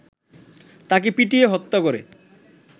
তাকে পিটিয়ে হত্যা করে